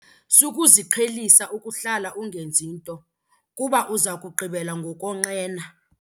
Sukuziqhelisa ukuhlala ungenzi nto kuba uza kugqibela ngokonqena.